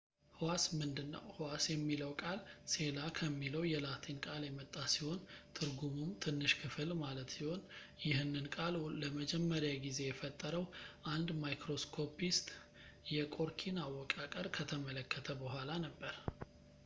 ህዋስ ምንድን ነው ህዋስ የሚለው ቃል ሴላ ከሚለው የላቲን ቃል የመጣ ሲሆን ትርጉሙም ትንሽ ክፍል ማለት ሲሆን ይህንን ቃል ለመጀመሪያ ጊዜ የፈጠረው አንድ microscopist የቆርኪን አወቃቀር ከተመለከተ በኋላ ነበር